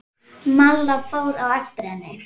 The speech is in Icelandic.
Malla fór á eftir henni.